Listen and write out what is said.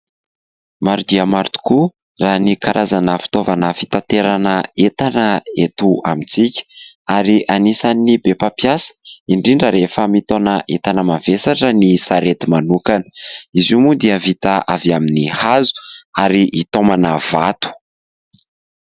Maro dia maro tokoa raha ny karazana fitaovana fitaterana entana eto amintsika ary anisany be mampiasa indrindra rehefa mitaona entana mavesatra raha ny sarety manokana, izy moa dia vita amin'ny hazo ary hitaomana vato.